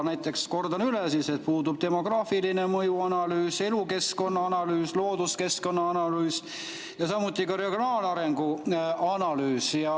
Näiteks, kordan üle: puudub demograafilise mõju analüüs, elukeskkonna analüüs, looduskeskkonna analüüs ja samuti regionaalarengu analüüs.